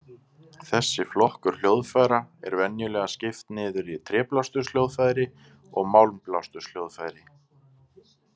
Þessi flokkur hljóðfæra er venjulega skipt niður í Tréblásturshljóðfæri og Málmblásturshljóðfæri.